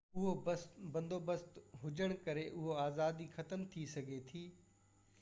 اهو بندوبست هجڻ ڪري اهو آزادي ختم ٿي سگهي ٿي